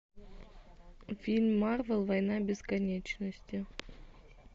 фильм марвел война бесконечности